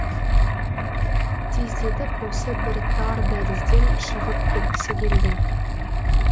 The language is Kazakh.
тездетіп осы бір тар дәлізден шығып кеткісі келді